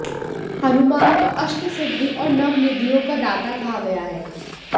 हनुमान को अष्ट सिद्धि और नव निधियों का दाता कहा गया है